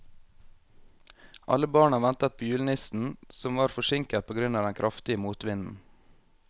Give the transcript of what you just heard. Alle barna ventet på julenissen, som var forsinket på grunn av den kraftige motvinden.